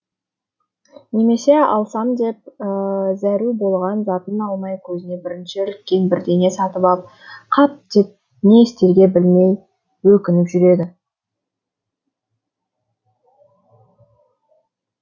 немесе алсам деп зәру болған затын алмай көзіне бірінші іліккен бірдеңе сатып ап қап деп не істерге білмей өкініп жүреді